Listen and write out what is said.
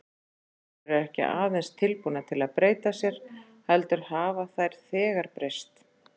Konur eru ekki aðeins tilbúnar til að breyta sér, heldur hafa þær þegar breyst, segir